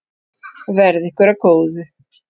Verði ykkur að góðu.